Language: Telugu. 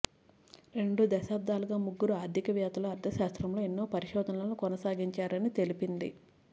రెండు దశాబ్దాలుగా ముగ్గురు ఆర్థిక వేత్తలు అర్థశాస్త్రంలో ఎన్నో పరిశోధనలను కొనసాగించారని తెలిపింది